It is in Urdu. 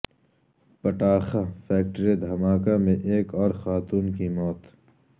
پٹاخہ فیکٹری دھماکہ میں ایک اور خاتون کی موت